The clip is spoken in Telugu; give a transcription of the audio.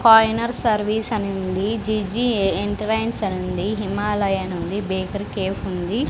ఫైనర్ సర్వీస్ అని ఉంది జి_జి ఎంటరైన్స్ అనుంది హిమాలయా అనుంది బేకరీ కేఫ్ ఉంది.